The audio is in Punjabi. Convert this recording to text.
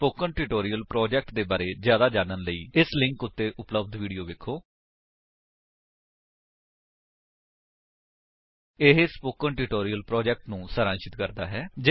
ਸਪੋਕਨ ਟਿਊਟੋਰਿਅਲ ਪ੍ਰੋਜੇਕਟ ਦੇ ਬਾਰੇ ਵਿੱਚ ਜਿਆਦਾ ਜਾਣਨ ਲਈ ਇਸ ਲਿੰਕ ਉੱਤੇ ਉਪਲੱਬਧ ਵੀਡੀਓ ਵੇਖੋ http spoken tutorial org What is a Spoken Tutorial ਇਹ ਸਪੋਕਨ ਟਿਊਟੋਰਿਅਲ ਪ੍ਰੋਜੇਕਟ ਨੂੰ ਸਾਰਾਂਸ਼ਿਤ ਕਰਦਾ ਹੈ